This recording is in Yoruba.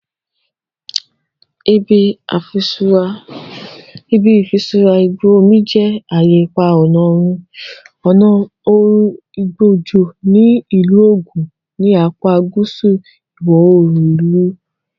Ibi Ifisura Igbo Omo je aye ipa ọna oorun igbo ojo ni Ilu Ogun, ni apa guusu iwọ-oorun ilu Nigeria.